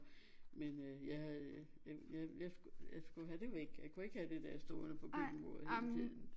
Men øh jeg havde øh jeg jeg jeg skulle jeg skulle have det væk jeg kunne ikke have det der stående på køkkenbordet hele tiden